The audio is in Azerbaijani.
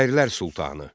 Şairlər sultanı.